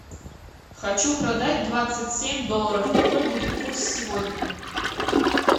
хочу продать двадцать семь долларов какой будет курс сегодня